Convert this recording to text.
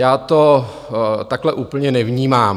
Já to takhle úplně nevnímám.